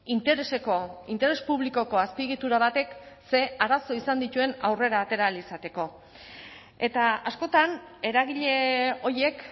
intereseko interes publikoko azpiegitura batek ze arazo izan dituen aurrera atera ahal izateko eta askotan eragile horiek